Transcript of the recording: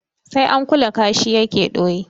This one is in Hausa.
Sai an kula kashi ya ke ɗoyi.